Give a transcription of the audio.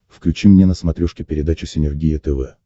включи мне на смотрешке передачу синергия тв